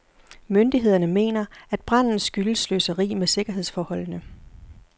Myndighederne mener, at branden skyldes sløseri med sikkerhedsforholdene.